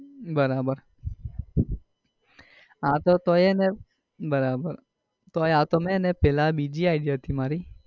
બરાબર આતો તો એને બરાબર પેલા બીજી id હતી મારી.